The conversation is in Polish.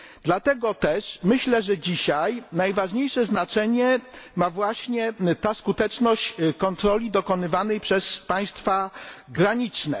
Dlatego też myślę, że dzisiaj najważniejsze znaczenie ma właśnie ta skuteczność kontroli dokonywanych przez państwa graniczne.